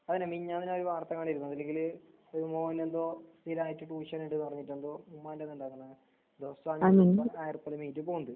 അതിന്നെ മിഞ്ഞാന്ന് രാവിലെ വാർത്തകണ്ടിരുന്നു അതിലികില് ഒരുമോനെന്തോ ഇതായിട്ട് ട്യൂഷനെട് പറഞ്ഞിട്ടെന്തോ ഉമ്മാന്റെതല്ലാക്കണേ ആയിറുപേടെമീറ്റ്പോണ്ട്.